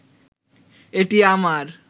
এটি আমার